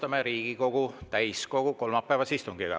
Alustame Riigikogu täiskogu kolmapäevast istungit.